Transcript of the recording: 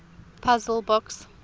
puzzle books